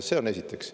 See on esiteks.